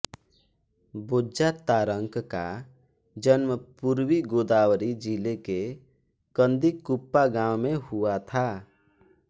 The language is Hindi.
बोज्जा तारकं का जन्म पूर्वी गोदावरी जिले के कन्दिकुप्पा गांव में हुआ था